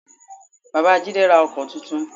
Bàbá Jídé ra Ọkọ́ tuntun